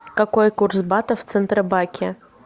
какой курс батов в центробанке